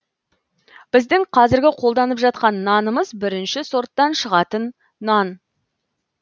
біздің қазіргі қолданып жатқан нанымыз бірінші сорттан шығатын нан